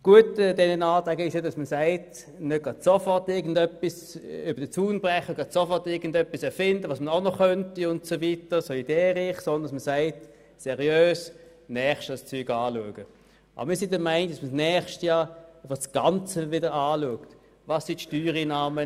Das Gute an diesen Anträgen ist, dass man nicht sofort entscheiden will, was man auch noch tun könnte, sondern dass man seriös vorgehen und das Ganze nochmals genau anschauen will.